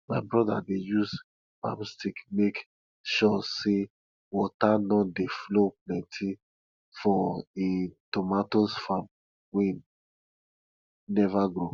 my broda dey use palm stick make sure say water no dey flow plenty for him tomato farm wey neva grow